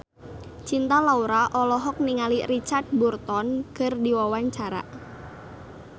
Cinta Laura olohok ningali Richard Burton keur diwawancara